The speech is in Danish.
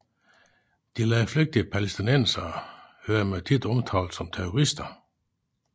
De landflygtige palæstinensere hører man ofte omtalt som terrorister